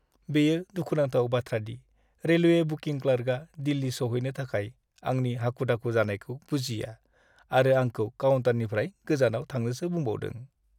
बेयो दुखुनांथाव बाथ्रादि रेलवे बुकिं क्लार्कआ दिल्ली सौहैनो थाखाय आंनि हाखु दाखु जानायखौ बुजिया आरो आंखौ काउन्टारनिफ्राय गोजानाव थांनोसो बुंबावदों।